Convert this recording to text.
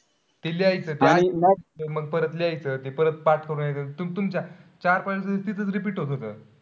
ते लिहायचं परत लिहायचं. ते परत पाठ कारण यायचं. तू तुमच्या चार-पाच वेळा त तिथेच repeat होत असल.